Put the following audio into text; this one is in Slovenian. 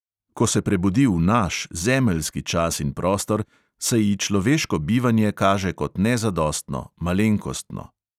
Ko se prebudi v naš, zemeljski čas in prostor, se ji človeško bivanje kaže kot nezadostno, malenkostno.